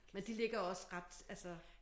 Men de ligger også ret altså